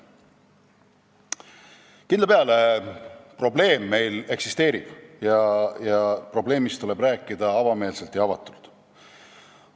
Kindla peale probleem eksisteerib ning probleemist tuleb rääkida avameelselt ja avatult.